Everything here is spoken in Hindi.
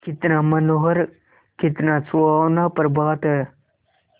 कितना मनोहर कितना सुहावना प्रभात है